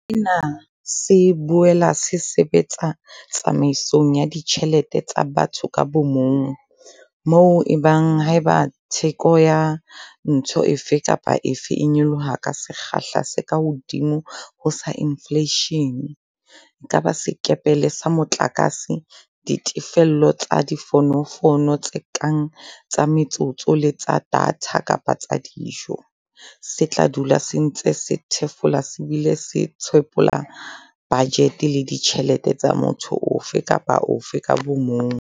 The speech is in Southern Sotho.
Sena se boela se sebetsa tsamaisong ya ditjhe lete tsa batho ka bomong, moo e bang haeba theko ya ntho efe kapa efe e nyoloha ka sekgahla se kahodimo ho sa infleishene - e ka ba sekepele sa motlakase, ditefello tsa difonofono tse kang tsa metsotso le tsa data kapa tsa dijo - se tla dula se ntse se thefula se bile se tshwephola bajete le ditjhelete tsa motho ofe kapa ofe ka bomong.